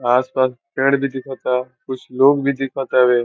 आस-पास पेंड भी दिखता कुछ लोग भी दिखत हवे।